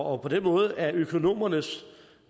og på den måde er økonomernes